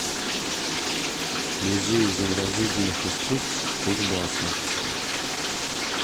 музей изобразительных искусств кузбасса